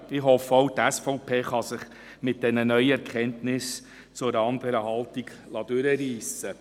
Ich hoffe, auch die SVP könne sich mit diesen neuen Erkenntnissen zu einer anderen Haltung hinreissen lassen.